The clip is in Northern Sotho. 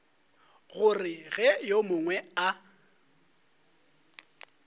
gore ge yo mongwe a